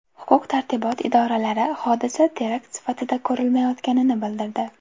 Huquq-tartibot idoralari hodisa terakt sifatida ko‘rilmayotganini bildirdi.